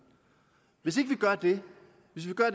men gør det